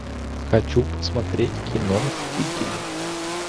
хочу посмотреть кино мстители